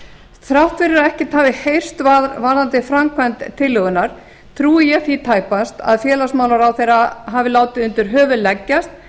þrátt fyrir að ekkert hafi heyrst varðandi framgang tillögunnar trúi ég því tæpast að félagsmálaráðherra hafi látið undir höfuð leggjast